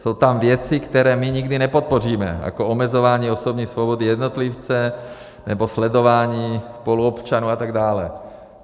Jsou tam věci, které my nikdy nepodpoříme, jako omezování osobní osoby jednotlivce nebo sledování spoluobčanů atd.